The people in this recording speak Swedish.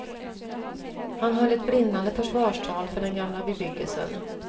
Han höll ett brinnande försvarstal för den gamla bebyggelsen.